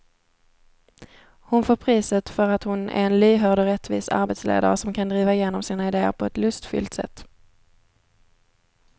Hon får priset för att hon är en lyhörd och rättvis arbetsledare som kan driva igenom sina idéer på ett lustfyllt sätt.